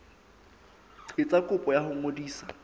etsa kopo ya ho ngodisa